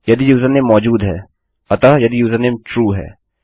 यदि यूजरनेम मौजूद है अतः यदि यूजरनेम ट्रू है